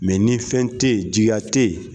Mɛ ni fɛn tɛ Yen, jigiya tɛ yen.